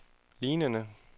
lignende